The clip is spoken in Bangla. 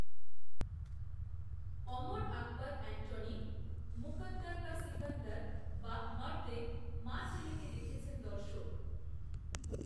অমর আকবর, অ্যান্টনি, মুকদ্দর কা সিকন্দর, বা মর্দএ, মা ছেলেকে দেখেছেন দর্শক